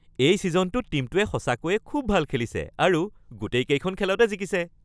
এই ছিজনটোত টীমটোৱে সঁচাকৈয়ে খুব ভাল খেলিছে আৰু গোটেইকেইখন খেলতে জিকিছে।